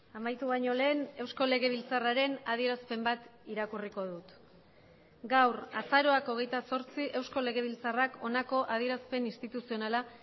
amaitu baino lehen eusko legebiltzarraren adierazpen bat irakurriko dut gaur azaroak hogeita zortzi eusko legebiltzarrak honako adierazpen instituzionala